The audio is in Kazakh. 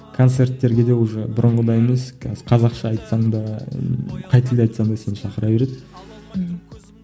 концерттерге де уже бұрынғыдай емес қазір қазақша айтсаң да қай тілде айтсаң да сені шақыра береді ммм